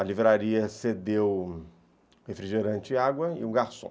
A livraria cedeu refrigerante e água e um garçom.